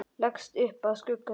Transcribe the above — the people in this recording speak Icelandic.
Leggst upp að skugga sínum.